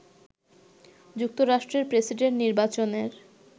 যুক্তরাষ্ট্রের প্রেসিডেন্ট নির্বাচনের